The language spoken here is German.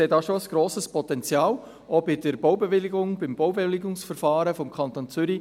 Dort sehe ich schon ein grosses Potenzial, auch bezüglich des Baubewilligungsverfahrens des Kantons Zürich.